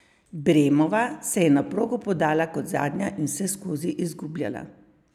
Bremova se je na progo podala kot zadnja in vseskozi izgubljala.